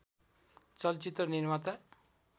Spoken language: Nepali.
चलचित्र निर्माता